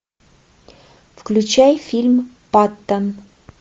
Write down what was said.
включай фильм паттон